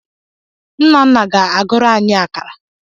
Nnanna na-agụrụ anyi akara.